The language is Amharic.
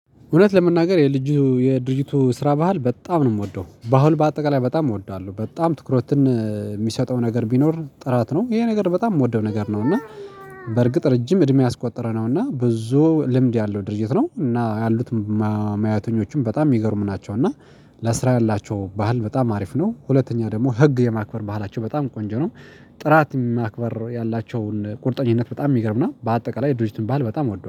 እውነት ለመናገር የልጁ የድርጅቱ ስራ ባህል በጣም ነው የምወደው። በአሁን በአጠቃላይ በጣም እወዳለሁ በጣም ትኩረትን የሚሰጠው ነገር ቢኖር ጥራት ነው። ይሄ ነገር በጣም የምወደው ነገር ነው። እና በርግጥ ረጅም እድሜ ያስቆጠረ ነው እና ብዙ ልምድ ያለው ድርጅት ነው እና ያሉት መያተኞችም በጣም የሚገርም ናቸው እና ለስራ ያላቸው ባህል በጣም አሪፍ ነው። ሁለተኛ ደግሞ ህግ የማክበር ባህላቸው በጣም ቆንጆ ነው። ጥራት የማክበር ያላቸውን ቁርጠኝነት በጣም የሚገርም ነው። በአጠቃላይ ድርጅትን ባል በጣም አወደዋለሁ